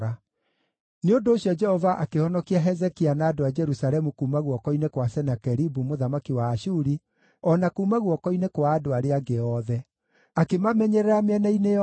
Nĩ ũndũ ũcio Jehova akĩhonokia Hezekia na andũ a Jerusalemu kuuma guoko-inĩ kwa Senakeribu mũthamaki wa Ashuri, o na kuuma guoko-inĩ kwa andũ arĩa angĩ othe. Akĩmamenyerera mĩena-inĩ yothe.